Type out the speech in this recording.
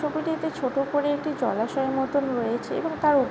টি ছোট করে একটি জলাশয়ের মতন রয়েছে এবং তার ওপ --